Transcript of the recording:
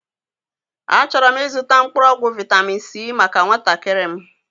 A chọrọ m ịzụta mkpụrụọgwụ vitamin c maka nwatakịrị m